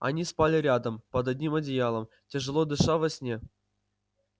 они спали рядом под одним одеялом тяжело дыша во сне